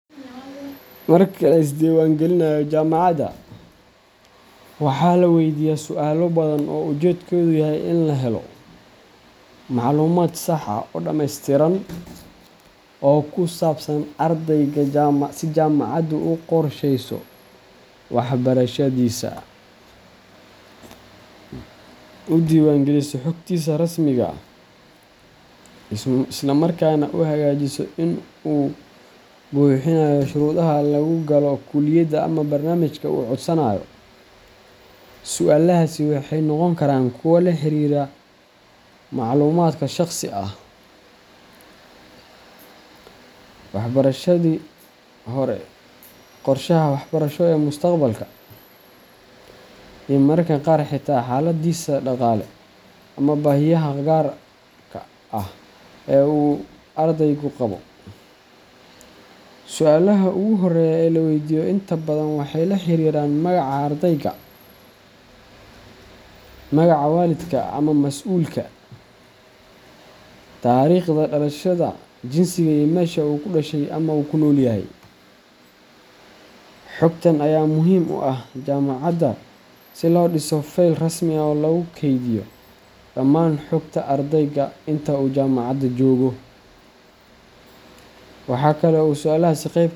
Marka la isdiiwaangelinayo jaamacadda, waxaa la weydiiyaa su’aalo badan oo ujeedkoodu yahay in la helo macluumaad sax ah oo dhammaystiran oo ku saabsan ardayga si jaamacaddu u qorshayso waxbarashadiisa, u diiwaangeliso xogtiisa rasmiga ah, isla markaana u xaqiijiso in uu buuxinayo shuruudaha lagu galo kulliyadda ama barnaamijka uu codsanayo. Su’aalahaasi waxay noqon karaan kuwo la xiriira macluumaadka shaqsiga ah, waxbarashadii hore, qorshaha waxbarasho ee mustaqbalka, iyo mararka qaar xitaa xaaladdiisa dhaqaale ama baahiyaha gaarka ah ee uu ardaygu qabo. Su’aalaha ugu horreeya ee la weydiiyo inta badan waxay la xiriiraan magaca ardayga, magaca waalidka ama mas’uulka, taariikhda dhalashada, jinsiga, iyo meesha uu ku dhashay ama ku nool yahay. Xogtan ayaa muhiim u ah jaamacadda si loo dhiso feyl rasmi ah oo lagu kaydiyo dhammaan xogta ardayga inta uu jaamacadda joogo. Waxa kale oo su’aalahaasi qeyb.